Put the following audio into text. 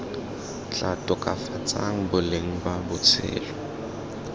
tla tokafatsang boleng ba botshelo